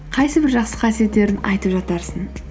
қайсы бір жақсы қасиеттерін айтып жатарсың